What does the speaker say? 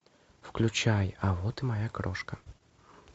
включай а вот и моя крошка